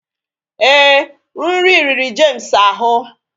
Ee, nri riri James ahụ